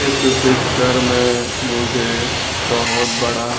इस पिक्चर में मुझे बहोत बड़ा--